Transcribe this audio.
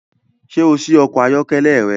Ṣé o ṣí ọkọ̀ ayọ́kẹ́lẹ́ rẹ?